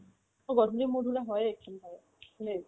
গধূলি মোৰ ধৰি লও হয়ে